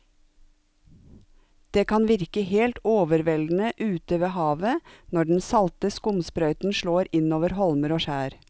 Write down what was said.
Det kan virke helt overveldende ute ved havet når den salte skumsprøyten slår innover holmer og skjær.